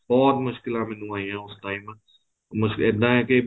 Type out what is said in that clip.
ਬਹੁਤ ਮੁਸ਼ਕਲਾ ਮੈਨੂੰ ਆਈਆਂ ਉਸ time ਬਸ ਏਦਾ ਹੈ ਕੇ